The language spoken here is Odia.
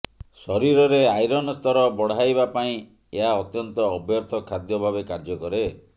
ଶରୀରରେ ଆଇରନ୍ ସ୍ତର ବଢ଼ାଇବା ପାଇଁ ଏହା ଅତ୍ୟନ୍ତ ଅବର୍ଥ୍ୟ ଖାଦ୍ୟ ଭାବେ କାର୍ଯ୍ୟ କରେ